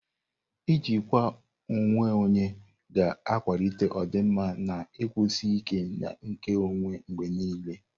Ijikwa onwe onye ga-akwalite ọdịmma, na ikwụsi ike nke ọnwe mgbe niile.